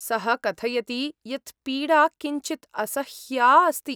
सः कथयति यत् पीडा किञ्चित् असह्या अस्ति।